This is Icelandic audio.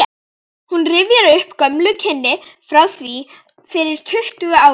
Hún rifjar upp gömul kynni frá því fyrir tuttugu árum.